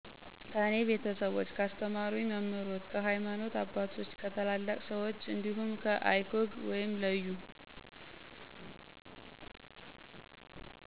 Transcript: ከኔ ቤተሰቦች፣ ካስተማሩኝ መምህሮች፣ ከሀይማኖተ አባቶች፣ ከታላላቅ ሰወች እንዲሁም icog(leyu